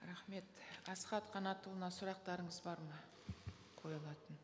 рахмет асхат қанатұлына сұрақтарыңыз бар ма қойылатын